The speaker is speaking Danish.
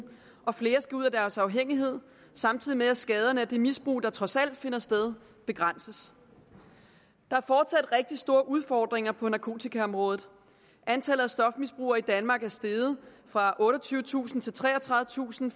og flere skal ud af deres afhængighed samtidig med at skaderne af det misbrug der trods alt finder sted begrænses der er fortsat rigtig store udfordringer på narkotikaområdet antallet af stofmisbrugere i danmark er steget fra otteogtyvetusind til treogtredivetusind